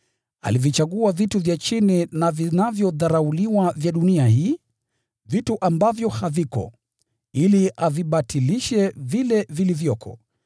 Alivichagua vitu vya chini na vinavyodharauliwa vya dunia hii, vitu ambavyo haviko, ili avibatilishe vile vilivyoko,